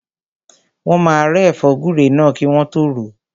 Wọ́n máa rẹ́ ẹ̀fọ́ gúre náà kí wọ́n tọ́ ròó.